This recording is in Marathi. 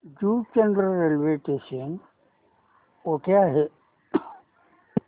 जुचंद्र रेल्वे स्थानक कुठे आहे